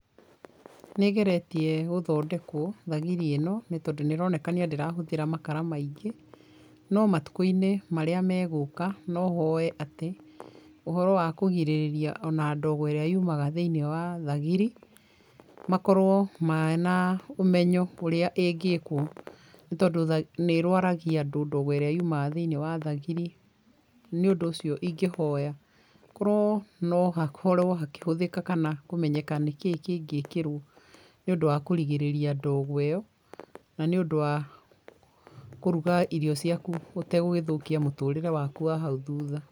Nĩ ĩgeretie gũthondekũo thagiri ĩno nĩ tondũ nĩ ĩronekania ndĩrahũthĩra makara maingĩ no matukũinĩ marĩa megũka no hoe atĩ ũhoro wa kũgirĩrĩria ona ndogo ĩrĩa yumaga thĩini wa thagiri makorũo mena ũmenyo wa ũria ĩngĩkũo nĩ tondũ nĩ ĩrwaragia andũ ndogo ĩrĩa yumaga thĩinĩ wa thagiri nĩ ũndũ ũcio ingĩoya korwo no hakorwo hakĩhũthĩka kana kũmenyeka nĩkĩĩ kĩngĩĩkĩrwo nĩũndũ wa kũrigĩrĩria ndogo ĩyo na nĩũndũ wa kũruga irio ciaku ũtegũgĩthũkia mũtũrĩre waku wa hau thutha.